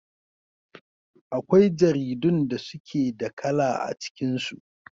Akwai jaridun da suke da kala a cikin su.